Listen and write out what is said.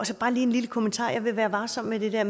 så bare lige en lille kommentar jeg ville være varsom med det der